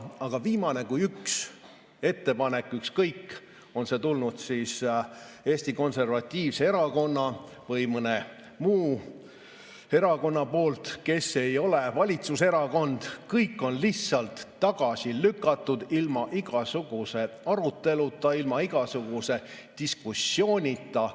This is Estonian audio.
Aga viimane kui üks ettepanek, ükskõik, on see tulnud Eesti Konservatiivselt Rahvaerakonnalt või mõnelt muult erakonnalt, kes ei ole valitsuserakond – kõik on tagasi lükatud ilma igasuguse aruteluta, ilma igasuguse diskussioonita.